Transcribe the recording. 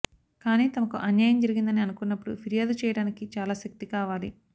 కాని తమకు అన్యాయం జరిగిందని అనుకున్నప్పుడు ఫిర్యాదు చేయడానికి చాలా శక్తి కావాలి